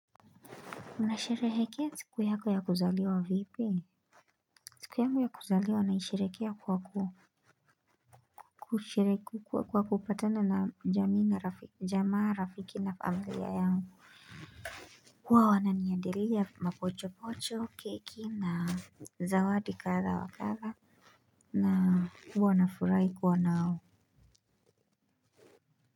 Unasherehekea siku yako ya kuzaliwa vipi? Siku yangu ya kuzaliwa naisherehekea kwa kupatana na jamaa, rafiki na familia yangu. Huwa wananiandalia mapochopocho, keki na zawadi kadha wa kadha. Na huwa nafurahi kuwa nao.